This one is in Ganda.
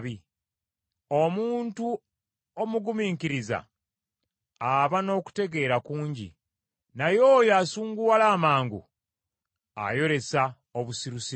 Omuntu omugumiikiriza aba n’okutegeera kungi, naye oyo asunguwala amangu ayolesa obusirusiru.